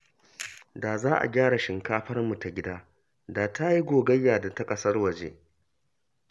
Da za a gyara shinkafarmu ta gida, da ta yi gogayya da ta ƙasar waje